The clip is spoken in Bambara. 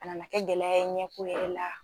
A nana kɛ gɛlɛya ye ɲɛko yɛrɛ la